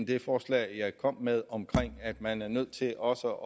det forslag jeg kom med om at man er nødt til også